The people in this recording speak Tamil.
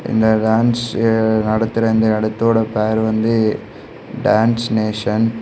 இந்த டான்ஸ் நடத்துற இந்த இடத்தோட பேரு வந்து டான்ஸ் நேஷன் .